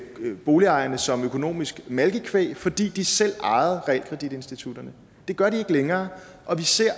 boligejerne som økonomisk malkekvæg fordi de selv ejede realkreditinstitutterne det gør de ikke længere og vi ser